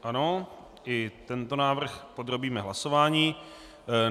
Ano, i tento návrh podrobíme hlasování.